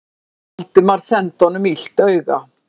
Valdimar sendi honum illt auga.